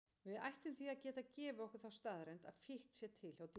Við ættum því að geta gefið okkur þá staðreynd að fíkn sé til hjá dýrum.